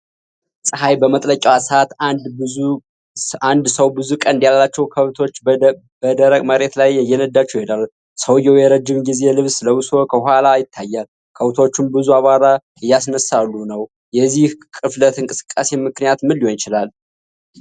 ፀሐይ በመጥለቂያዋ ሰዓት አንድ ሰው ብዙ ቀንድ ያላቸውን ከብቶች በደረቅ መሬት ላይ እየነዳቸው ይሄዳል። ሰውየው የረጅም ጊዜ ልብስ ለብሶ ከኋላ ይታያል፤ ከብቶቹም ብዙ አቧራ እያስነሳሉ ነው። የዚህ ቅፍለት እንቅስቃሴ ምክንያቱ ምን ሊሆን ይችላል?